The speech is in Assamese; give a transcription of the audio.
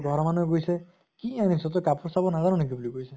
তʼ ঘৰৰ মানুহে কৈছে কি আনিছ তই কাপোৰ চাব নাজান নেকি কৈছে ।